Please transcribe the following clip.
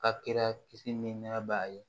A kɛra kisi ni nɛɛ b'a ye